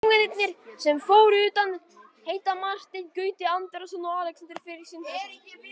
Leikmennirnir sem fóru utan heita Marteinn Gauti Andrason og Alexander Freyr Sindrason.